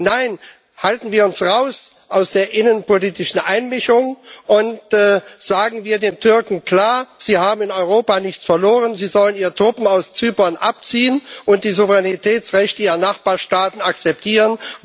Nein, halten wir uns raus aus der innenpolitischen Einmischung und sagen wir den Türken klar Sie haben in Europa nichts verloren, sie sollen ihre Truppen aus Zypern abziehen und die Souveränitätsrechte ihrer Nachbarstaaten akzeptieren!